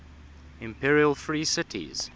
imperial free cities